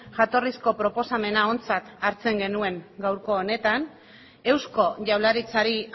jatorrizko proposamena ontzat hartzen genuen gaurko honetan eusko jaurlaritzari